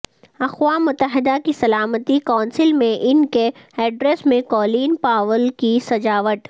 اقوام متحدہ کی سلامتی کونسل میں ان کے ایڈریس میں کولین پاول کی سجاوٹ